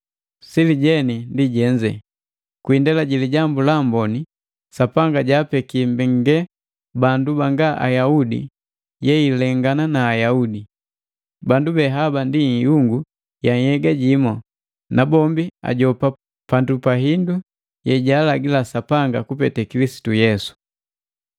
Sili jeni ndi jenze: Kwi indela ji Lijambu la Amboni Sapanga jaapeke mbengalelu bandu banga Ayaudi yeilengana na Ayaudi. Bandu be haba ndi ihungu ya nhyega jimu, nabombi ajopa pandu pa hindu yejaalagi Sapanga kupete Kilisitu Yesu.